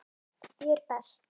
Ég er best.